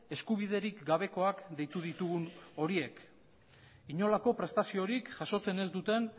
eskubiderik gabekoak deitu ditugun horiek inolako prestaziorik jasotzen ez duten